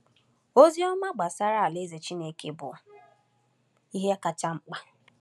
Ozi ọma gbasara Alaeze Chineke bụ ihe kacha mkpa.